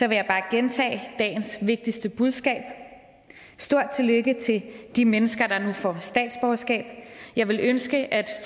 jeg bare gentage dagens vigtigste budskab et stort tillykke til de mennesker der nu får statsborgerskab jeg ville ønske at